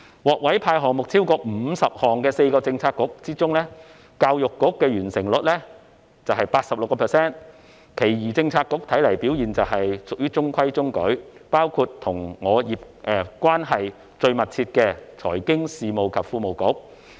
獲委派超過50個項目的4個政策局之中，教育局的完成率是 86%， 其餘政策局看來表現屬中規中矩，包括與我關係最密切的財經事務及庫務局。